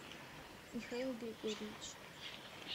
михаил григорьевич